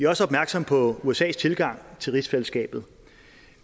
også opmærksomme på usas tilgang til rigsfællesskabet